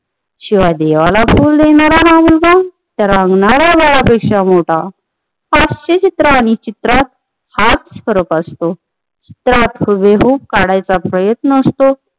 शिवाय देवाला फुल देणार मुलगा ते रंगणार बाळ पेक्षा मोठा हास्य चित्र आणि चित्रात हाच फरक असतो. त्यात गेहू काढायचं प्रयत्न असतो